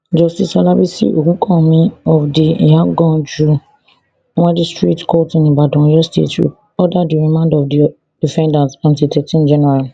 justice olabisi ogunkanmi of di iyaganku magistrate court in ibadan oyo state order di remand of di defendants until thirteen january